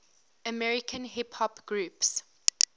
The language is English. american hip hop groups